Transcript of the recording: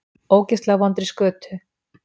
Ógeðslega vondri skötu.